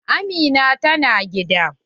Amina ta na gida?